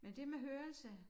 Men det med hørelse